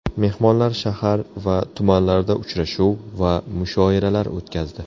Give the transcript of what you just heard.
Mehmonlar shahar va tumanlarda uchrashuv va mushoiralar o‘tkazdi.